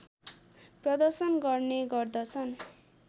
प्रदर्शन गर्ने गर्दछन्